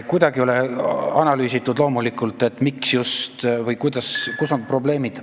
Kuidagi ei ole analüüsitud, miks just see vald või mis on probleemid.